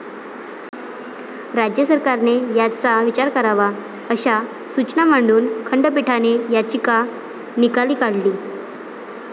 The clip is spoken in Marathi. राज्य सरकारने याचा विचार करावा', अशा सूचना मांडून खंडपीठाने याचिका निकाली काढली.